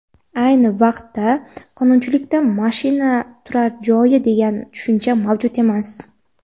ayni vaqtda qonunchilikda mashina turar joylari degan tushuncha mavjud emas.